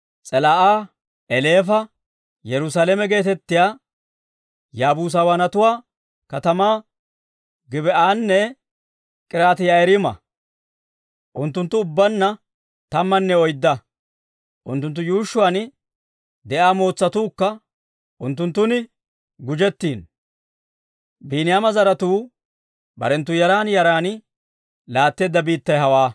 S'elaa'a, Eleefa, Yerusaalame geetettiyaa Yaabuusawaanatuwaa katamaa, Gib"anne K'iriyaati-Yi'aariima. Unttunttu ubbaanna tammanne oydda; unttunttu yuushshuwaan de'iyaa mootsatuukka unttunttun gujettiino. Biiniyaama zaratuu barenttu yaran yaran laatteedda biittay hawaa.